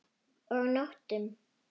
Og nóttum!